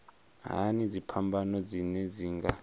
hani dziphambano dzine dzi nga